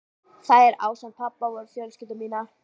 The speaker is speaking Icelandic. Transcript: Þær, ásamt pabba, voru fjölskylda mín.